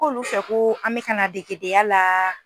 K'olu fɛ ko an mɛ ka na degedenya la